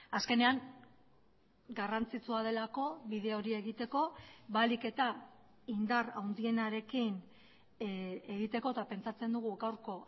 azkenean garrantzitsua delako bide hori egiteko ahalik eta indar handienarekin egiteko eta pentsatzen dugu gaurko